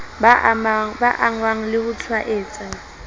ba angwang le ho tshwaetswa